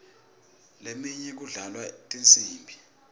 leminye kudlalwa tinsimbi